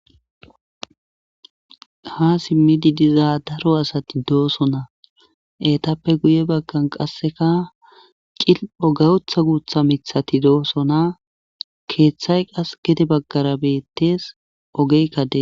ha simmidi dizaa daro asati doosona etappe guye baggan qasseka cilpho gayotha guutha mithati doosona keeththay qas gede baggara beettees ogeykka de